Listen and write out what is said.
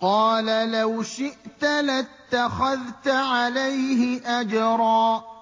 قَالَ لَوْ شِئْتَ لَاتَّخَذْتَ عَلَيْهِ أَجْرًا